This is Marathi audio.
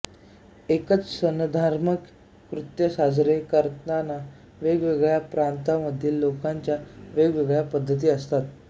एकच सणधार्मिक कृत्य साजरे करतांना वेगवेगळ्या प्रांतामधील लोकांच्या वेगवेगळ्या पद्धती असतात